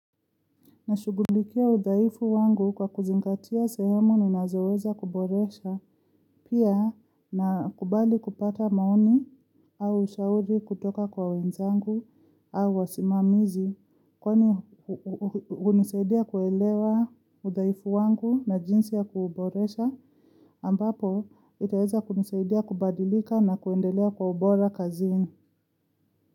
Nashughulikia udhaifu wangu kwa kuzingatia sehemu ninazoweza kuboresha pia nakubali kupata maoni au ushauri kutoka kwa wenzangu, au wasimamizi kwani hunisaidia kuelewa udaifu wangu na jinsi ya kuboresha ambapo itaweza kunisaidia kubadilika na kuendelea kwa ubora kazini.